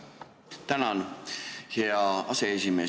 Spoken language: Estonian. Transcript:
Tänan, hea aseesimees!